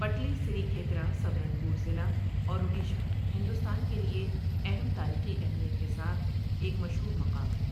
پٹلی Sri Khetra Subarnapur ضلع اور اڈیشہ، ہندوستان کے لیے اہم تاریخی اہمیت کے ساتھ ایک مشہور مقام ہے۔